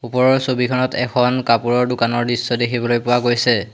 ওপৰৰ ছবিখনত এখন কাপোৰৰ দোকানৰ দৃশ্য দেখিবলৈ পোৱা গৈছে।